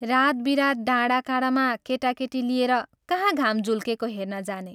रात बिरात डाँडा काँडामा केटाकेटी लिएर कहाँ घाम झुल्केको हेर्न जाने?